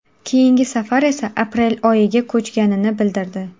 Keyingi safar esa aprel oyiga ko‘chganini bildirdi.